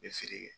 N bɛ feere kɛ